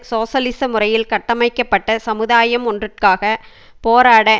சோசியலிச முறையில் கட்டமைக்கப்பட்ட சமுதாயம் ஒன்றுக்காக போராட